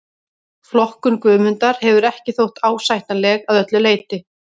Flokkun Guðmundar hefur ekki þótt ásættanleg að öllu leyti.